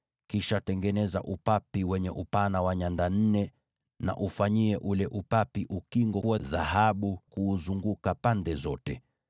Kisha tengeneza upapi wenye upana wa nyanda nne, na ufanyie ule upapi ukingo wa dhahabu kuuzunguka pande zote.